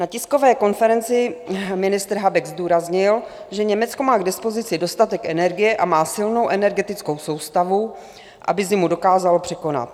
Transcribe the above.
Na tiskové konferenci ministr Habeck zdůraznil, že Německo má k dispozici dostatek energie a má silnou energetickou soustavu, aby zimu dokázalo překonat.